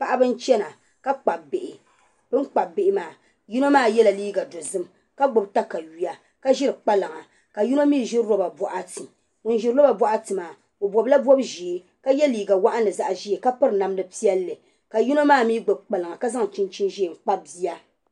Paɣiba n-chana ka kpabi bihi. Bɛ ni kpabi bihi maa yino maa yɛla liiga dozim ka gbibi takayua ka ʒiri kpalaŋa ka yino mi ʒi loba bɔɣiti. Ŋun ʒiri loba bɔɣiti maa o bɔbila bɔb' ʒee ka ye liiga waɣinli zaɣ' ʒee ka piri namda piɛlli ka yino maa mi gbibi kpalaŋa ka zaŋ chinchini ʒee n-kpabi bia.